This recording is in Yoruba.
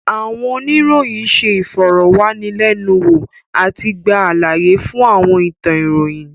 Àwọn oníròyìn ṣé ìfọ̀rọ̀wánilẹ́nuwò àti gba àlàyé fún àwọn ìtàn ìròyìn